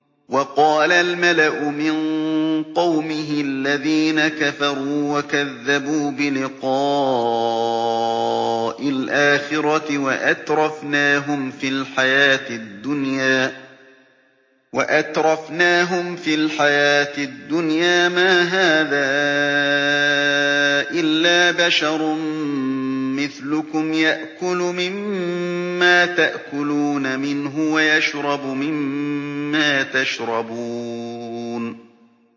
وَقَالَ الْمَلَأُ مِن قَوْمِهِ الَّذِينَ كَفَرُوا وَكَذَّبُوا بِلِقَاءِ الْآخِرَةِ وَأَتْرَفْنَاهُمْ فِي الْحَيَاةِ الدُّنْيَا مَا هَٰذَا إِلَّا بَشَرٌ مِّثْلُكُمْ يَأْكُلُ مِمَّا تَأْكُلُونَ مِنْهُ وَيَشْرَبُ مِمَّا تَشْرَبُونَ